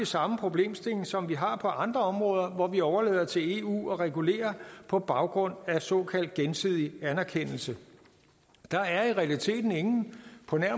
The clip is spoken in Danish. samme problemstilling som vi har på andre områder hvor vi overlader det til eu at regulere på baggrund af såkaldt gensidig anerkendelse der er i realiteten ingen